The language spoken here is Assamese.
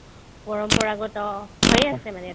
পৰম্পৰাগত হৈয়ে আছে মানে